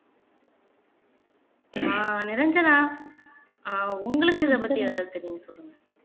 ஆஹ் நிரஞ்சனா ஆஹ் உங்களுக்கு இதை பத்தி தெரியுமா சொல்லுங்க